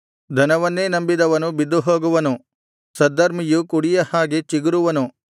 ಧನವನ್ನೇ ನಂಬಿದವನು ಬಿದ್ದುಹೋಗುವನು ಸದ್ಧರ್ಮಿಯು ಕುಡಿಯ ಹಾಗೆ ಚಿಗುರುವನು